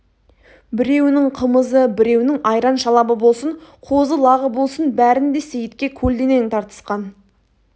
біреуінің қымызы біреуінің айран-шалабы болсын қозы-лағы болсын бәрін де сейітке көлденең тартысқан